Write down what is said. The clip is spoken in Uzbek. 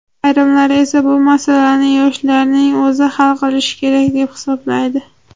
Ayrimlar esa bu masalani yoshlarning o‘zi hal qilishi kerak deb hisoblaydi.